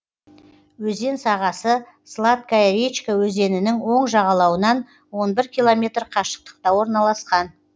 өзен сағасы сладкая речка өзенінің оң жағалауынан он бір километр қашықтықта орналасқан